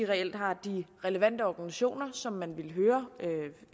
reelt har de relevante organisationer som man ville høre